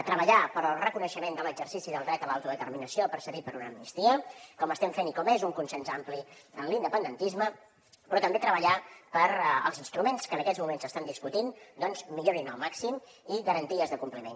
treballar pel reconeixement de l’exercici del dret a l’autodeterminació precedit per una amnistia com estem fent i com és un consens ampli en l’independentisme però també treballar perquè els instruments que en aquests moments s’estan discutint millorin al màxim i garanties de compliment